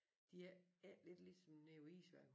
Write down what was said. De er ikke lidt ligesom nede på Isværket